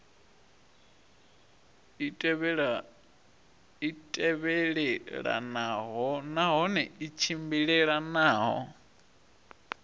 i tevhelelanaho nahone i tshimbilelanaho